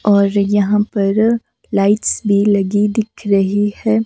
और यहां पर लाइट्स भी लगी दिख रही है।